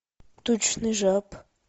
тучный жаб